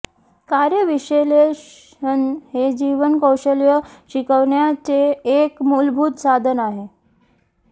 कार्य विश्लेषण हे जीवन कौशल्य शिकविण्याचे एक मूलभूत साधन आहे